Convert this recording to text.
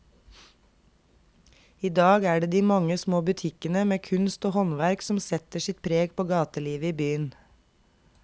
I dag er det de mange små butikkene med kunst og håndverk som setter sitt preg på gatelivet i byen.